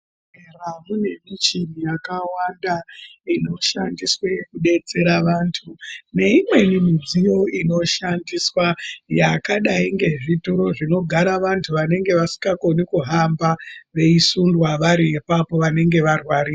...bhehlera mune michini yakawanda inoshandiswe kudetsera vantu. Neimweni midziyo inoshandiswa yakadai ngezvituru zvinogara vantu vanenge vasikakoni kuhamba veisundwa vari apapo vanenge varwari...